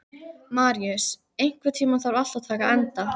Maríus, einhvern tímann þarf allt að taka enda.